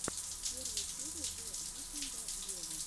первая серия зе викнда вево